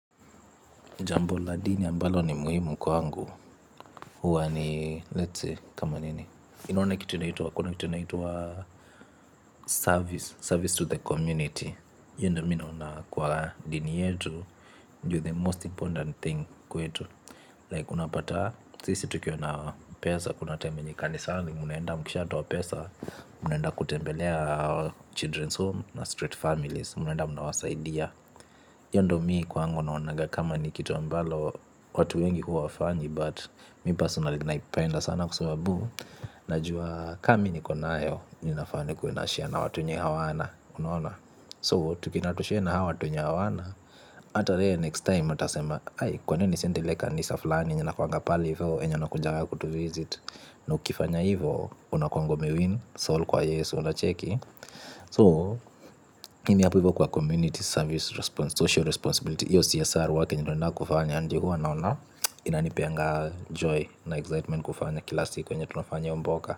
Jambo la dini ambalo ni muhimu kwangu, huwa ni, let's see, kama nini, inaona kitu inaitwa, kuna kitu inaitwa service, service to the community, io ndo mi naona kwa dini yetu, ndio the most important thing kwetu, like unapata, sisi tukiwa na pesa, kuna time yenye kanisani, mnaenda mkishatoa pesa, mnaenda kutembelea children's home, na street families, mnaenda mnawasaidia, io ndo mi kwangu naonaga kama ni kitu ambalo watu wengi huwa hawafanyi. But mi personali naipenda sana kwa sababu najua kami niko nayo. Ninafaa nikuwe nashare na watu wenye hawana. Unaona So, tukienda na tushare na hawa watu wenye hawana. Ata yeye next time, atasema kwanini nisiende ile kanisa fulani yenye inakuwaga pale, ivo yenye wanakujaga kutuvisit. Na ukifanya hivo unakuanga umewin Soul, kwa yesu, unacheki So, mimi hapo ivo kwa community service social responsibility iyo CSR huwa kenye tunaendaga kufanya ndio huwa naona inanipeanga joy na excitement kufanya kila siku yenye tunafanya io mboka.